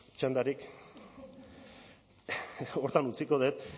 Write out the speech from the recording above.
txandarik horretan utziko dut